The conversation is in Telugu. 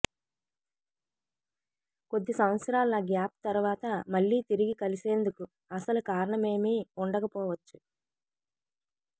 కొద్ది సంవత్సరాల గ్యాప్ తరువాత మళ్లీ తిరిగి కలిసేందుకు అసలు కారణమేమీ ఉండకపోవచ్చు